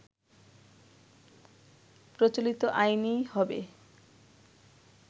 প্রচলিত আইনেই হবে